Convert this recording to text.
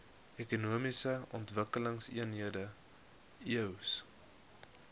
ekonomiese ontwikkelingseenhede eoes